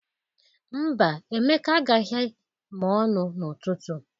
Mba, Emeka agaghị mọọlụ n'ụtụtụ.